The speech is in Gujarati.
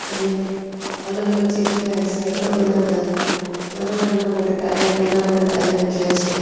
અને અલગ અલગ જગ્યાએ સાયકલો ના બધા નાના નાના મોટા ટાયર નાના મોટા ટાયર મૂક્યા છે.